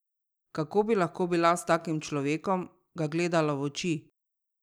Kako bi lahko bila s takim človekom, ga gledala v oči?